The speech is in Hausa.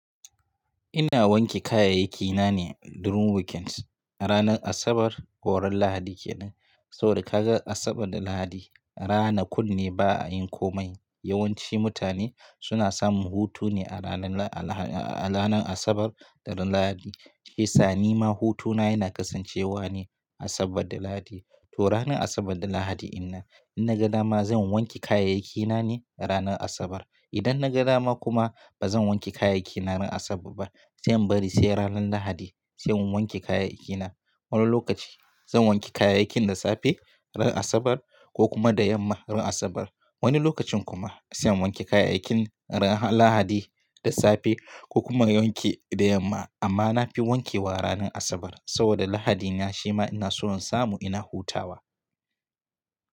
Ina wanke kayayyakina ne during weekend. Ranar Asabar ko ran Lahadi kenan. Saboda ka ga Asabar da Lahadi rana kunne ba a yin komai. Yawanci mutane suna samun hutu ne a ranar Asabar da Lahadi. Shiyasa ni ma hutuna yana kasancewa ne Asabar da Lahadi. To ranar Asabar da Lahadi inan. In na ga dama zan wanke kayayyakina ne ranar Asabar. Idan na ga dama kuma ba zan wanke kayayyakina ran Asabar ba, zan bari sai ran Lahadi sai in wanke kayayyakina. Wani lokaci zan wanke kayayakin da safe ran Asabar ko kuma da yamma ran Asabar. Wani lokacin kuma zan wanke kayayakin ran Lahadi da safe ko kuma in wanke da yamma. Amma na fi wankewa ranar Asabar saboda Lahadina shima ina so in samu ina hutawa.